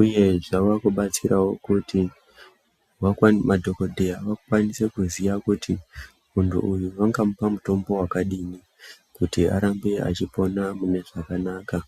uye zvava kudatsirawo kuti madhokodheya akwanise kuziva kuti muntu uyu vangamupe mutombo wakadii kuti arambe achipona mune zvakanaka.